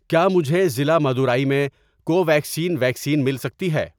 کیا مجھے ضلع مدورائی میں کوویکسین ویکسین مل سکتی ہے؟